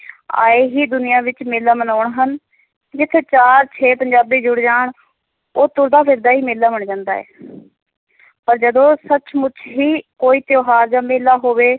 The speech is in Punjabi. ਆਏ ਹੀ ਦੁਨੀਆਂ ਵਿੱਚ ਮੇਲਾ ਮਨਾਉਣ ਹਨ ਜਿੱਥੇ ਚਾਰ ਛੇ ਪੰਜਾਬੀ ਜੁੜ ਜਾਣ, ਉਹ ਤੁਰਦਾ ਫਿਰਦਾ ਹੀ ਮੇਲਾ ਬਣ ਜਾਂਦਾ ਹੈ ਪਰ ਜਦੋਂ ਸੁਚ-ਮੁੱਚ ਹੀ ਕੋਈ ਤਿਉਹਾਰ ਜਾਂ ਮੇਲਾ ਹੋਵੇ,